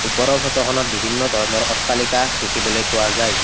ওপৰৰ ফটো খনত বিভিন্ন ধৰণৰ অট্টালিকা দেখিবলৈ পোৱা যায়।